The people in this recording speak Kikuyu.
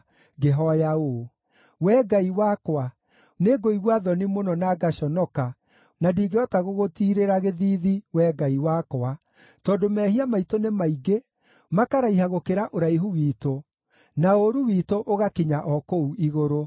ngĩhooya ũũ: “Wee Ngai wakwa, nĩngũigua thoni mũno na ngaconoka na ndingĩhota gũgũtiirĩra gĩthiithi, Wee Ngai wakwa, tondũ mehia maitũ nĩ maingĩ makaraiha gũkĩra ũraihu witũ na ũũru witũ, ũgakinya o kũu igũrũ.